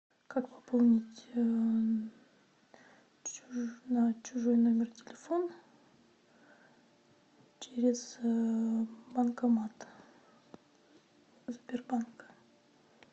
как пополнить чужой номер телефона через банкомат сбербанка